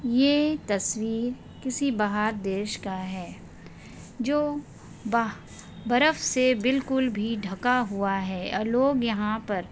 ये तस्वीर किसी बाहर देश का है जो ब बरफ से बिल्कुल भी ढका हुआ है और लोग यहा पर--